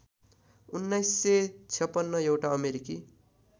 १९५६ एउटा अमेरिकी